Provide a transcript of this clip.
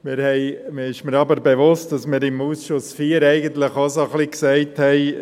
Es ist mir aber bewusst, dass wir im Ausschuss IV eigentlich auch so ein bisschen gesagt haben: